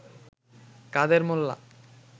কাদের মোল্লা